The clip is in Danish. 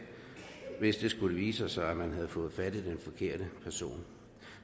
hvis det skulle vise sig at man havde fået fat i den forkerte person